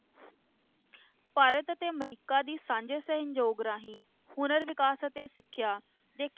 ਭਾਰਤ ਅਤੇ ਅਮਰੀਕਾ ਦੀ ਸਾਂਝੇ ਸਹਿਯੋਗ ਰਾਹੀਂ ਹੁਨਰ ਵਿਕਾਸ ਅਤੇ ਸਿੱਖਿਆ ਦੇ